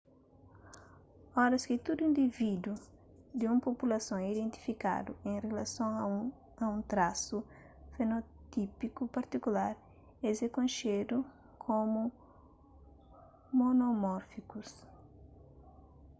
oras ki tudu indivídus di un populason é identiku en rilason a un trasu fenotípiku partikular es é konxedu komu monomórfikus